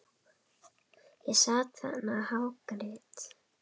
Ég sat þarna og hágrét.